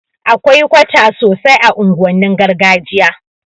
Akwai kwata sosai a unguwannin gargajiya